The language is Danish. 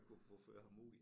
At kunne ført ham ud i